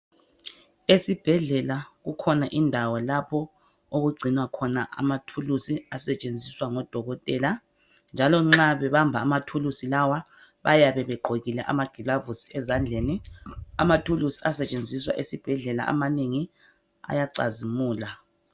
Esibhedlela kukhona indawo lapho okugcinwa khona amathulusi asetshenziswa ngodokotela .Njalo nxa bebamba amathulusi lawa bayabe begqokile amagilavusi ezandleni . Amathulusi asetshenziswa esibhedlela amanengi ayacazimula .